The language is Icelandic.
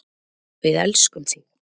Við elskum þig.